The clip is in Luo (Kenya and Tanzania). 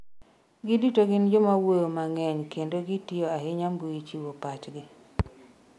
giduto gin joma wuoyo mang'eny kendo gitiyo ahinya mbui chiwo pachgi